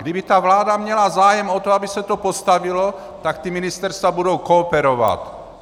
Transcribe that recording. Kdyby ta vláda měla zájem o to, aby se to postavilo, tak ta ministerstva budou kooperovat.